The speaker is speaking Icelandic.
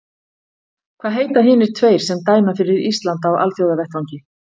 Hvaða heita hinir tveir sem dæma fyrir Ísland á Alþjóðavettvangi?